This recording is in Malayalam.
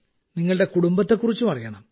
നിങ്ങളുടെ കുടുംബത്തെക്കുറിച്ചും അറിയണം